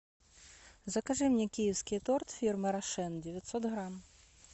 закажи мне киевский торт фирмы рошен девятьсот грамм